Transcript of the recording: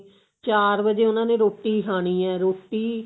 ਚਾਰ ਵਜ਼ੇ ਉਹਨਾ ਨੇ ਰੋਟੀ ਖਾਣੀ ਏ ਰੋਟੀ